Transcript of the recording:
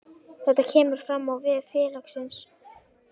Þetta kemur fram á vef félagsins